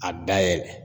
A dayɛlɛ